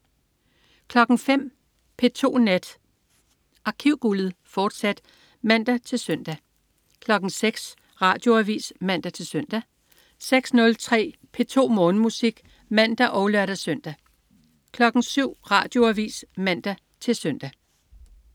05.00 P2 Nat. Arkivguldet, fortsat (man-søn) 06.00 Radioavis (man-søn) 06.03 P2 Morgenmusik (man og lør-søn) 07.00 Radioavis (man-søn)